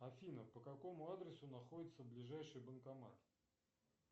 афина по какому адресу находится ближайший банкомат